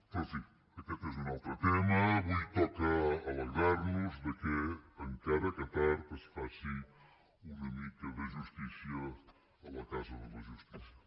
però en fi aquest és un altre tema avui toca alegrar nos que encara que tard es faci una mica de justícia a la casa de la justícia